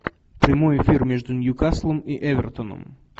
прямой эфир между ньюкаслом и эвертоном